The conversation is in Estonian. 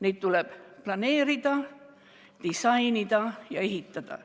Neid tuleb planeerida, disainida ja ehitada.